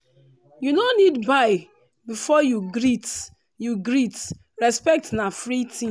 you no need buy before you greet you greet respect na free thing.